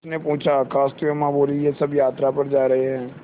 उसने पूछा खाँसते हुए माँ बोलीं वे सब यात्रा पर जा रहे हैं